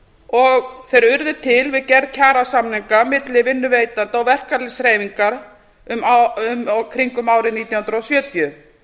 og þeir urðu til við gerð kjarasamninga milli vinnuveitenda og verkalýðshreyfingar í kringum árið nítján hundruð sjötíu